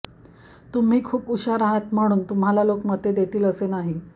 तुम्ही खूप हुशार आहात म्हणून तुम्हाला लोक मते देतील असेही नाही